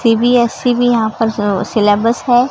CBSE भी यहां पर सिलेबस है।